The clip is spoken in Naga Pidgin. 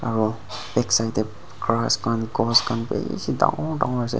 aro backside de grass khan ghas khan bishi dangor dangor ase.